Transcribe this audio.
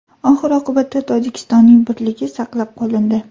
Oxir-oqibatda, Tojikistonning birligi saqlab qolindi.